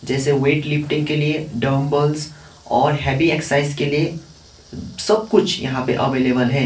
जैसे वेटलिफ्टिंग के लिए डंबल्स और हेवी एक्सरसाइज के लिए सब कुछ यहां पे अवेलेबल है।